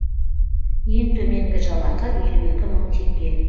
ең төменгі жалақы елу екі мың теңге